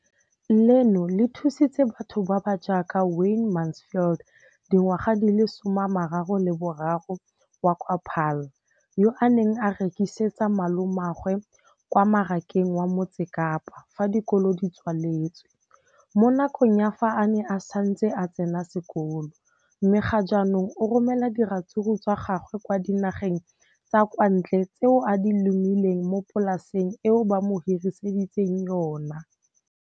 Leno le thusitse batho ba ba jaaka Wayne Mansfield, 33, wa kwa Paarl, yo a neng a rekisetsa malomagwe kwa Marakeng wa Motsekapa fa dikolo di tswaletse, mo nakong ya fa a ne a santse a tsena sekolo, mme ga jaanong o romela diratsuru tsa gagwe kwa dinageng tsa kwa ntle tseo a di lemileng mo polaseng eo ba mo hiriseditseng yona.